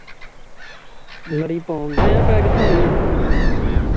ਲੜੀ ਪਾਉਂਦੇਆਂ, ਪੈ ਕਿਥੋਂ ਗਈ ਹੈ ਜੇ